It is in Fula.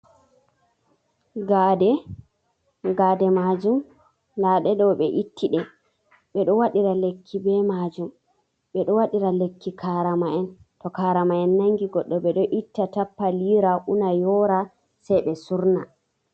Gade, gade majum nda ɗe ɗo be ittiɗe, ɓeɗo waɗira lekki be majum, ɓeɗo waɗira lekki karama'en to karama'en nangi goɗɗo ɓeɗo itta tappa lira una yora sei ɓe surna.